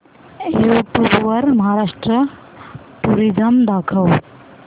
YouTube वर Maharashtra tourism दाखव